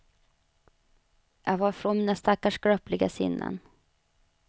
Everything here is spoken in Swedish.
Jag var från mina stackars skröpliga sinnen.